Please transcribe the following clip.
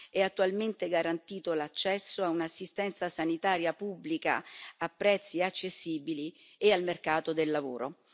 è attualmente garantito l'accesso a un'assistenza sanitaria pubblica a prezzi accessibili e al mercato del lavoro.